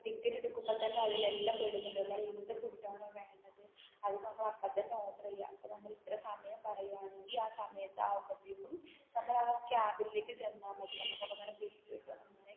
ticket എടുക്കുമ്പോൾ തന്നേ അതിൽ എല്ലാം പെടുന്നുണ്ട് എന്ത് ഫുഡ് ആണോ വേണ്ടത് അത് നമ്മൾ അപ്പോൾ തന്നേ ഓർഡർ ചെയ്യാ അപ്പോൾ നമ്മൾ ഇത്ര സമയം പറയാണെങ്കിൽ ആ സമയത്തു ആ നമ്മടെ ആ ക്യാബിനിൽ തന്നാൽ മതി നമുക്ക് അങ്ങനെ ഫുഡ് കിട്ടും